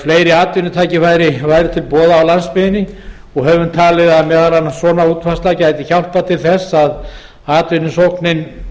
fleiri atvinnutækifæri séu til boða á landsbyggðinni og höfum talið að meðal annars svona útfærsla gæti hjálpað til þess að atvinnusóknin